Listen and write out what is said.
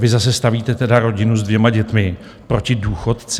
Vy zase stavíte tedy rodinu s dvěma dětmi proti důchodci.